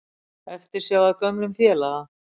Eftirsjá að gömlum félaga